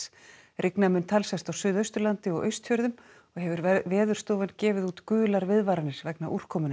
rigna mun talsvert á Suðausturlandi og Austfjörðum og hefur Veðurstofan gefið út gular viðvaranir vegna